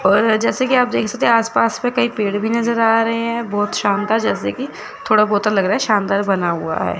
और जैसे की आप देख सकते है आस पास में कई पेड़ भी नज़र आ रहे है बहोत शांता जैसे की थोड़ा बहोत लग रहा शानदार बना हुआ है।